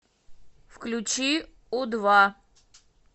включи у два